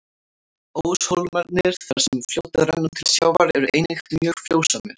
Óshólmarnir, þar sem fljótið rennur til sjávar, eru einnig mjög frjósamir.